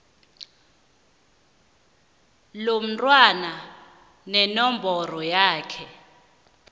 lomntwana nenomboro yakhe